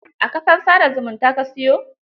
A kafar sa da zumunta ka siyo?